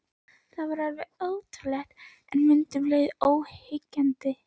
Þetta var ótrúlegt, en um leið alveg óyggjandi.